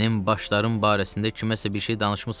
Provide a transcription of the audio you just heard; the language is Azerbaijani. Mənim başlarım barəsində kiməsə bir şey danışmısız?